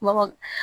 Mɔgɔ